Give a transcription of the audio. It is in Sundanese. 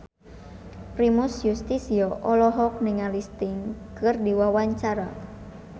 Primus Yustisio olohok ningali Sting keur diwawancara